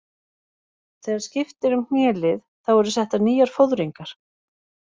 Þegar skipt er um hnélið þá eru settar nýjar fóðringar.